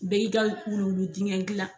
Bɛɛ y'i ka wuluwulu dingɛ dilan